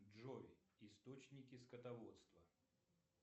джой источники скотоводства